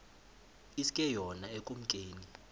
iske yona ekumkeni